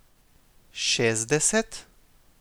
Šestdeset?